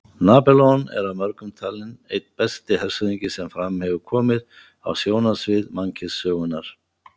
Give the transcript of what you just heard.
Napóleon er af mörgum talinn einn besti hershöfðingi sem fram hefur komið á sjónarsvið mannkynssögunnar.